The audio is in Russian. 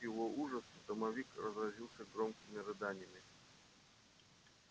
и тут к его ужасу домовик разразился громкими рыданиями